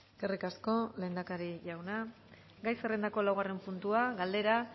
eskerrik asko lehendakari jauna gai zerrendako laugarren puntua galdera